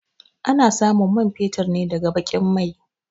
A na samun man fetur ne daga baƙin mai